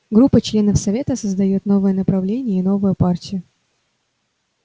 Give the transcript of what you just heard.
группа членов совета создаёт новое направление и новую партию